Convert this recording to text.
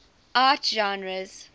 art genres